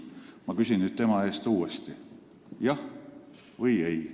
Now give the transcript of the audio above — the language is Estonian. Ma küsin nüüd tema eest uuesti: kas jah või ei?